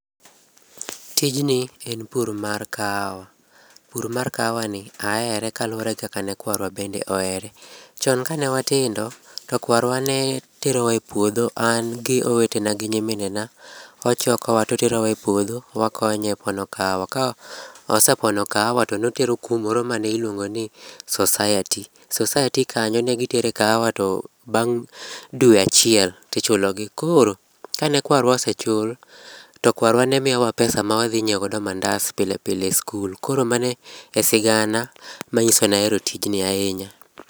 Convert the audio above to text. Tijni en pur mar kahawa. Pur mar kahawani ahere kaluwore gi kaka ne kwarwa bende ohere. Chon kane watindo to kwarwa ne terowa epuodho, an gi owetena gi nyiminena, ochokowa to oterowa epuodho e puodho to wakonye pono kahawa. Kane osepono kawaha to ne otero kumoro mane iluongo ni society. Society kanyo ne gitere kahawa to bang' dwe achiel to ichulogi. Koro, kane kwarwa osechul, to ne kwarwa miyowa pesa ma wadhi nyiewo godo mandas pile pile e skul. Koro mano e sigana manyiso ni ahero tij ni ahinya.